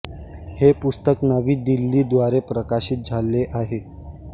हे पुस्तक नवी दिल्ली द्वारे प्रकाशित झाले आहे